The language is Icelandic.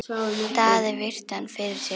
Daði virti hann fyrir sér.